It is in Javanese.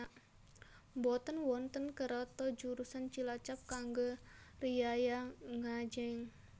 Mboten wonten kereto jurusan Cilacap kangge riyaya ngajeng